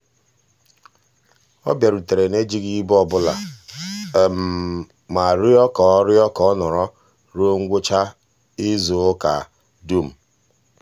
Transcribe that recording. ọ bịarutere n'ejighị ịbụ ọbụla ma rịọ ka ọ rịọ ka ọ nọrọ ruo ngwụcha izuụka dum.